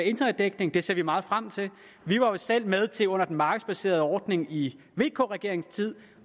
internetdækning det ser vi meget frem til vi var jo selv med til under den markedsbaserede ordning i vk regeringens tid